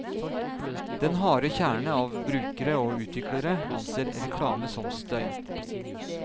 Den harde kjerne av brukere og utviklere anser reklame som støy.